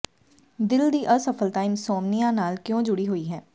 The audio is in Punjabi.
ਦਿਲ ਦੀ ਅਸਫ਼ਲਤਾ ਇਨਸੌਮਨੀਆ ਨਾਲ ਕਿਉਂ ਜੁੜੀ ਹੋਈ ਹੈ